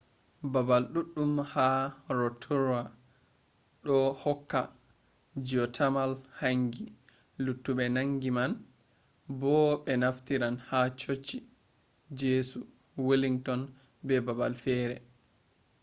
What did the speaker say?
babal duddum ha rotorua do hokka geothermal hangi luttube hangi man bo be naftiran ha chochi jesu wellington be babal fere